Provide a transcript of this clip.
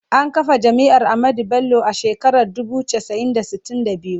An kafa Jami’ar Ahmadu Bello a shekarar dubu casa'i da sitin da biyu.